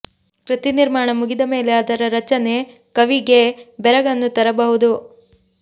ಕೃತಿ ನಿರ್ಮಾಣ ಮುಗಿದ ಮೇಲೆ ಅದರ ರಚನೆ ಕವಿಗೇ ಬೆರಗನ್ನು ತರಬಹುದು